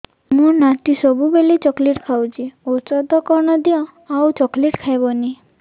ମୋ ନାତି ସବୁବେଳେ ଚକଲେଟ ଖାଉଛି ଔଷଧ କଣ ଦିଅ ଆଉ ଚକଲେଟ ଖାଇବନି